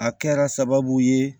A kɛra sababu ye